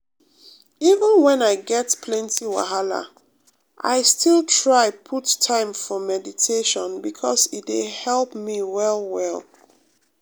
even when i get plenty wahala i still try put time for meditation because e dey help me well well.